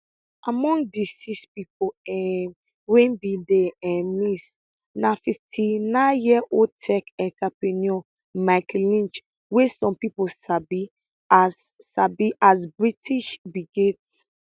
among di six pipo um wey bin dey um miss na fifty nine year old tech entrepreneur mike lynch wey some pipo sabi as sabi as british bill gates